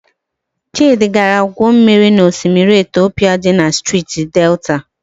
Chịdị gara gwuo mmiri na osimiri Etiopu dị na Steeti Delta.